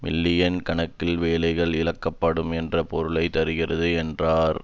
million கணக்கான வேலைகள் இழக்கப்படக்கூடும் என்ற பொருளை தருகிறது என்றார்